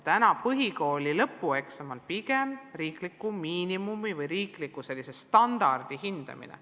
Praegu on põhikooli lõpueksam pigem riikliku miinimumi või riikliku standardi hindamine.